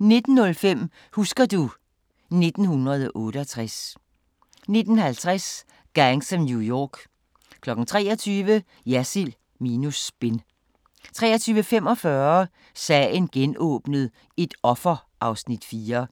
19:05: Husker du ... 1968 19:50: Gangs of New York 23:00: Jersild minus spin 23:45: Sagen genåbnet: Et offer (Afs. 4)